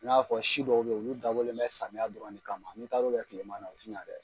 I n'a fɔ si dɔw be yen olu dabɔlen bɛ samiya dɔrɔn de kama n'i taar'o kɛ tilema na, o ti ɲa dɛ